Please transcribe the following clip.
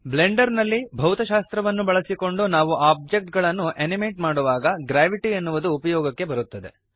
Blender ನಲ್ಲಿ ಭೌತಶಾಸ್ತ್ರವನ್ನು ಬಳಸಿಕೊಂಡು ನಾವು ಓಬ್ಜೆಕ್ಟ್ ಗಳನ್ನು ಅನಿಮೇಟ್ ಮಾಡುವಾಗ ಗ್ರಾವಿಟಿ ಎನ್ನುವುದು ಉಪಯೋಗಕ್ಕೆ ಬರುತ್ತದೆ